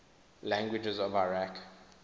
languages of iraq